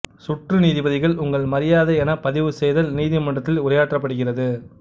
சுற்று நீதிபதிகள் உங்கள் மரியாதை என பதிவுசெய்தல் நீதிமன்றத்தில் உரையாற்றப்படுகிறது